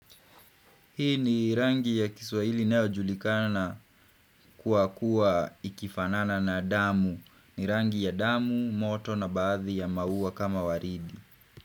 Hii ni rangi ya kiswahili inayojulikana kwa kuwa ikifanana na damu. Ni rangi ya damu, moto na baadhi ya maua kama waridi.